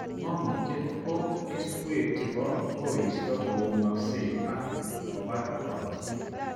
Mangutiet ko keswek chebo koristo koumaksei ak kobar korotik